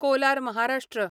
Kolar Maharashtra